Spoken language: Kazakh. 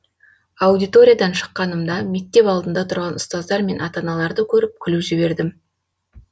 аудиториядан шыққанымда мектеп алдында тұрған ұстаздар мен ата аналарды көріп күліп жібердім